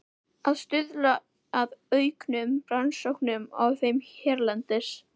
Að stuðla að auknum rannsóknum á þeim hérlendis.